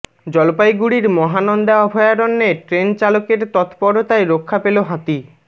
জলপাইগুড়ির মহানন্দা অভয়ারণ্যে ট্রেন চালকের তৎপরতায় রক্ষা পেল হাতি